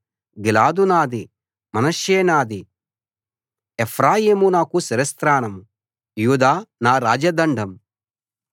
గిలాదు నాది మనష్షే నాది ఎఫ్రాయిము నాకు శిరస్త్రాణం యూదా నా రాజ దండం